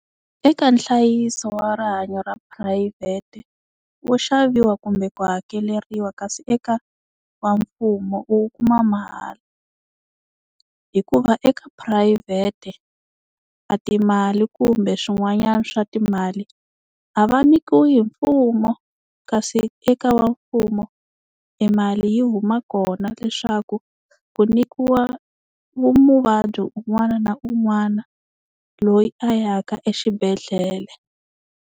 Eka nhlayiso wa rihanyo ra phurayivhete wo xaviwa kumbe ku hakeleriwa, kasi eka wa mfumo u wu kuma mahala. Hikuva eka phurayivhete a timali kumbe swin'wanyana swa timali a va nyikiwi hi mfumo, kasi eka wa mfumo e mali yi huma kona leswaku ku nyikiwa muvabyi un'wana na un'wana loyi a ya ka exibedhlele.